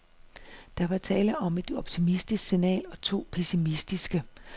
Der var tale om et optimistisk signal og to pessimistiske.